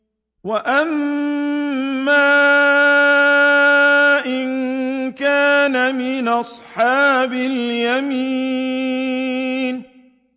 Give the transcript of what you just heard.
وَأَمَّا إِن كَانَ مِنْ أَصْحَابِ الْيَمِينِ